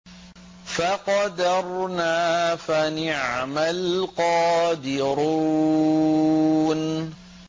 فَقَدَرْنَا فَنِعْمَ الْقَادِرُونَ